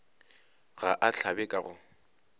ga a hlabe ka go